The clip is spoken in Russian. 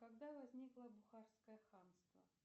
когда возникло бухарское ханство